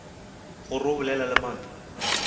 gore o bolela le mang